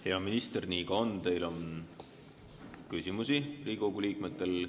Hea minister, nii ka on, et teile on Riigikogu liikmetel küsimusi.